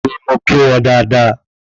Bẹ́ẹ̀ni, mo kí wọn dáadáa